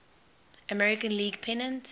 american league pennant